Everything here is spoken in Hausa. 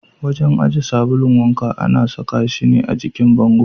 Wajen aje sabulun wanka ana saka shi ne a jikin bango.